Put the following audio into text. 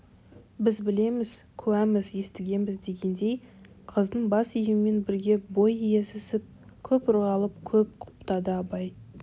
біз білеміз куәміз естігенбіз дегендей қыздың бас июімен бірге бой иізесіп көп ырғалып көп құптады абай